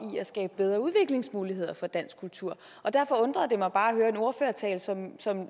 i at skabe bedre udviklingsmuligheder for dansk kultur derfor undrede det mig bare at høre en ordførertale som som